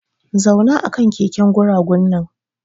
Zauna akan keken guragu nan!